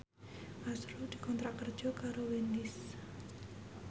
azrul dikontrak kerja karo Wendys